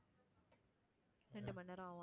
ரெண்டு மணி நேரம் ஆகும்,